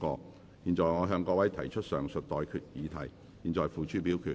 我現在向各位提出上述待決議題，付諸表決。